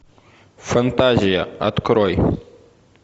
фантазия открой